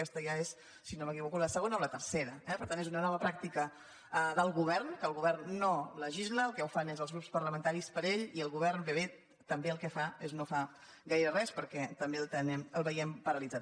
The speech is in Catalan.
aquesta ja és si no m’equivoco la segona o la tercera eh per tant és una nova pràctica del govern que el govern no legisla els que ho fan són els grups parlamentaris per ell i el govern ben bé també el que fa és no fa gaire res perquè també el ve·iem paralitzat